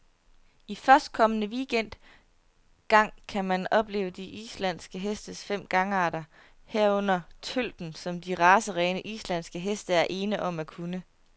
I førstkommende weekend gang kan man opleve de islandske hestes fem gangarter, herunder tølten, som de racerene, islandske heste er ene om at kunne.